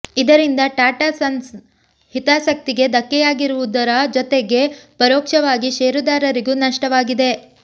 ಇದರಿಂದ ಟಾಟಾ ಸನ್ಸ್ನ ಹಿತಾಸಕ್ತಿಗೆ ಧಕ್ಕೆಯಾಗಿರುವುದರ ಜತೆಗೆ ಪರೋಕ್ಷವಾಗಿ ಷೇರುದಾರರಿಗೂ ನಷ್ಟವಾಗಿದೆ